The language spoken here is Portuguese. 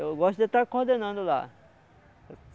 Eu gosto de estar coordenando lá.